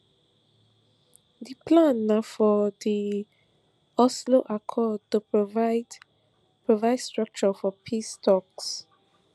di plan na for di oslo accord to provide provide structure for peace talks